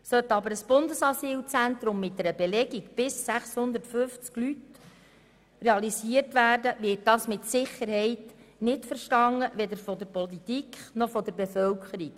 Sollte aber ein Bundesasylzentrum mit einer Belegung bis 650 Menschen realisiert werden, wird das mit Sicherheit nicht verstanden, weder von der Politik noch von der Bevölkerung.